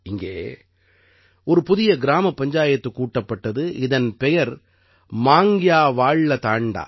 இங்கே ஒரு புதிய கிராமப் பஞ்சாயத்து கூட்டப்பட்டது இதன் பெயர் மாங்க்யா வாள்ள தாண்டா